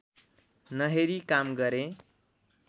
नहेरी काम गरेँ